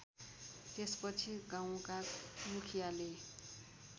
त्यसपछि गाउँका मुखियाले